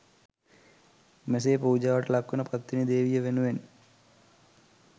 මෙසේ පූජාවට ලක්වන පත්තිනි දේවිය වෙනුවෙන්